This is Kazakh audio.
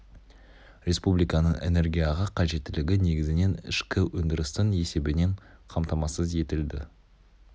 республиканың энергияға қажеттілігі негізінен ішкі өндірістің есебінен қамтамасыз етілді